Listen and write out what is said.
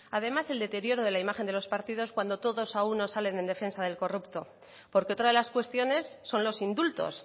además el deterioro de la imagen de los partidos cuando todos a una salen en defensa del corrupto porque otra de las cuestiones son los indultos